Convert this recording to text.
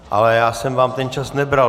Ale já jsem vám ten čas nebral.